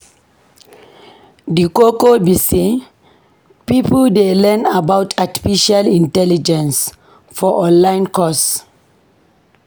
Di koko be sey pipo dey learn about artificial intelligence for online course.